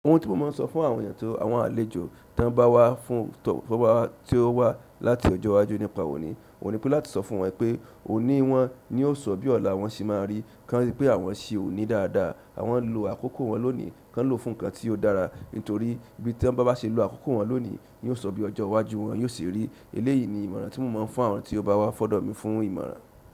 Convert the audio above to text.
Ohun tí mo máa ń sọ fún àwọn ènìyàn tí àwọn àlejò tí wọ́n bá wá fún tọ̀ọ́fọ̀ bá ti ó wá láti ọjọ́ iwájú nípa òní, òní pé láti sọ fún wọn pé òní wọn ni yóò sọ bí ọ̀la wọn ṣe máa rí, kí wọ́n rí pé àwọn ṣì òní dáadáa, àwọn ń lo àkókò wọn lónìí kí wọ́n lò fún nǹkan tí ó dára nítorí bí tí wọ́n bá ṣe lo àkókò wọn lónìí ni yóò sọ bí ọjọ́ iwájú wọn yóò ṣe rí. Eléyìí ni ìmọ̀ràn tí mo máa ń fún àwọn tí ó bá wá fọ́dọ̀ mi fún ìmọ̀ràn.